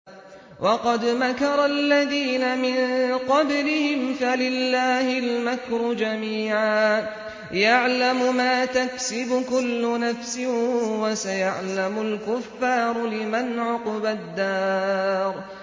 وَقَدْ مَكَرَ الَّذِينَ مِن قَبْلِهِمْ فَلِلَّهِ الْمَكْرُ جَمِيعًا ۖ يَعْلَمُ مَا تَكْسِبُ كُلُّ نَفْسٍ ۗ وَسَيَعْلَمُ الْكُفَّارُ لِمَنْ عُقْبَى الدَّارِ